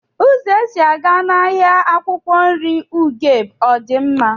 Uzo esi aga n'ahia akwukwo nri ugeb odi nma?